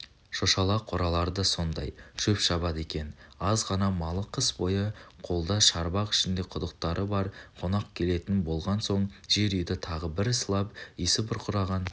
шошала қоралары да сондай шөп шабады екен аз ғана малы қыс бойы қолда шарбақ ішінде құдықтары бар қонақ келетін болған соң жер үйді тағы бір сылап иісі бұрқыраған